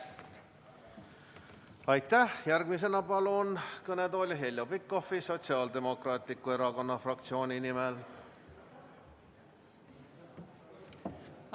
Järgmisena palun kõnetooli Heljo Pikhofi Sotsiaaldemokraatliku Erakonna fraktsiooni nimel.